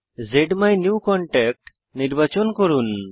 জ্মাইনিউকনট্যাক্ট নির্বাচন করুন